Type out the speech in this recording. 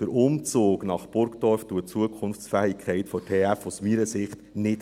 Der Umzug nach Burgdorf erhöht die Zukunftsfähigkeit der TF aus meiner Sicht nicht.